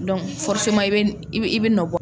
i bɛ i bɛ i bɛ nɔ bɔ.